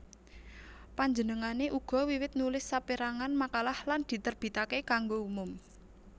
Panjenengané uga wiwit nulis sapérangan makalah lan diterbitaké kanggo umum